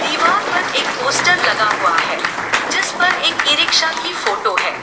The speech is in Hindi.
दीवार पर एक पोस्टर लगा हुआ है जिस पर एक ई रिक्शा की फोटो है।